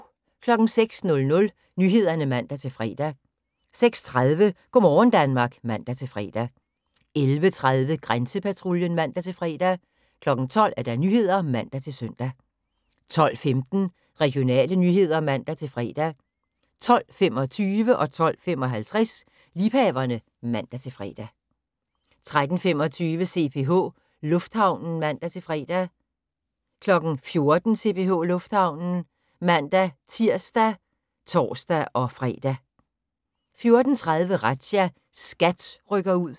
06:00: Nyhederne (man-fre) 06:30: Go' morgen Danmark (man-fre) 11:30: Grænsepatruljen (man-fre) 12:00: Nyhederne (man-søn) 12:15: Regionale nyheder (man-fre) 12:25: Liebhaverne (man-fre) 12:55: Liebhaverne (man-fre) 13:25: CPH Lufthavnen (man-fre) 14:00: CPH Lufthavnen (man-tir og tor-fre) 14:30: Razzia – SKAT rykker ud